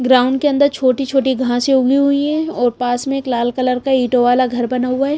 Ground के अंदर छोटी-छोटी घांसे उगी हुई है और पास में एक लाल कलर का ईटो वाला घर बना हुआ है।